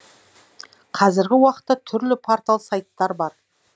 қазіргі уақытта түрлі портал сайттар бар